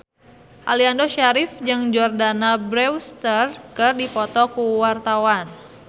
Aliando Syarif jeung Jordana Brewster keur dipoto ku wartawan